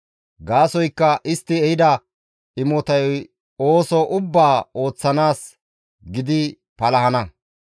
Gaasoykka istti ehida imotay ooso ubbaa ooththanaas gidi palahana.